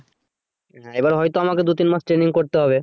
এবার হয়তো আমাকে দু তিন মাস training করতে হবে